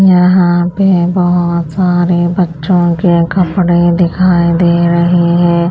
यहाँ पे बहुत सारे बच्चों के कपड़े दिखाई दे रहे हैं।